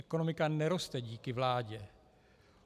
Ekonomika neroste díky vládě.